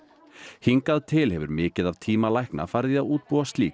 hingað til hefur mikið af tíma lækna farið í að útbúa slík